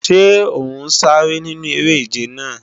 Ṣé ọ̀ ń sáré nínú eré-ìje náà?